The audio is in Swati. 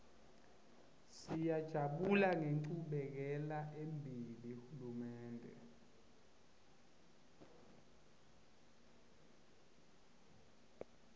siyajabula ngenchubekelembili hulumende